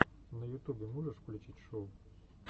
на ютубе можешь включить шоу